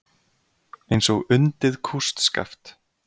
Eins og undið kústskaft.